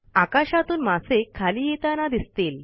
आकाशातून मासे खाली येताना दिसतील